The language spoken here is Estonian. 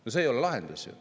See ei oleks ju lahendus.